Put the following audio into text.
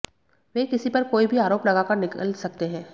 वे किसी पर कोई भी आरोप लगाकर निकल सकते हैं